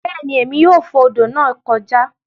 Beeni Emi yoo fo odo naa joka